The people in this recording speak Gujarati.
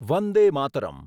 વંદે માતરમ